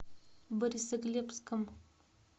борисоглебском